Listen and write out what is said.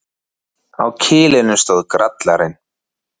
Á kilinum stóð Grallarinn.